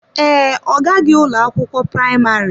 Ee, ọ gaghị ụlọ akwụkwọ praịmarị.